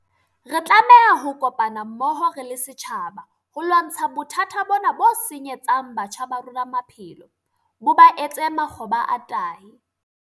Re tlameha ho kopana mmoho re le setjhaba ho lwantsha bothata bona bo senyetsang batjha ba rona maphelo, bo ba etse makgoba a tahi.